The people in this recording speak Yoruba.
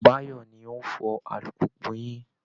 Báyọ̀ ni ó ń fọ alùpùpù yín